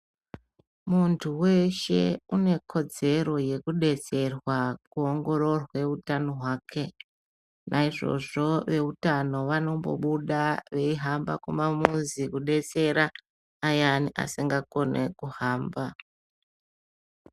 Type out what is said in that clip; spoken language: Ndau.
Muntu wrshe une kodzero yekudetserwa kuongororwe utano hwake naizvozvo veutano vanombobuda veihamba kumamuzi kudetsera ayani asikakoni kuhamba.